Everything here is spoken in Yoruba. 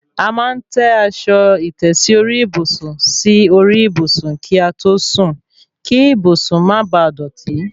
A máa ń tẹ́ aṣọ ìtẹ́sí orí ìbùsùn sí orí ìbùsùn kí a tó sùn kí ìbùsùn má baà dọ̀tí